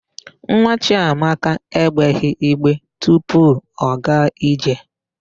Nwa Chiamaka egbeghị igbe tupu ọ gaa ije.